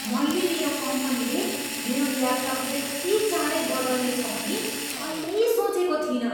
मैले मेरो कम्पनीले मेरो ल्यापटप यति चाँडै बदल्नेछ भनी कहिल्यै सोचेको थिइनँ!